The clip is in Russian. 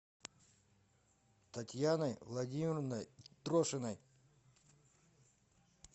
татьяной владимировной трошиной